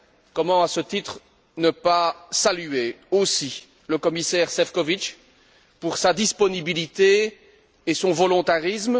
Comment, à ce titre, ne pas saluer aussi le commissaire Šefčovič pour sa disponibilité et son volontarisme.